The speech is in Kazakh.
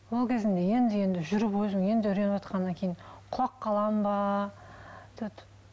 ол кезімде енді енді жүріп өзім енді үйреніватқаннан кейін құлап қаламын ба